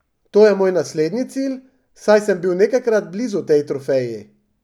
To je moj naslednji cilj, saj sem bil nekajkrat blizu tej trofeji.